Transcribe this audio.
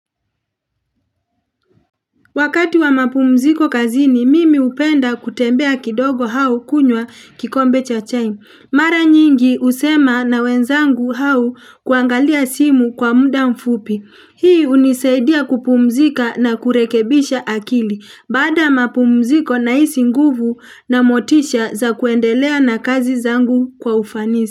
Wakati wa mapumziko kazini, mimi hupenda kutembea kidogo au kunywa kikombe cha chai. Mara nyingi husema na wenzangu au kuangalia simu kwa muda mfupi. Hii hunisaidia kupumzika na kurekebisha akili. Baada mapumziko na hisi nguvu na motisha za kuendelea na kazi zangu kwa ufanisi.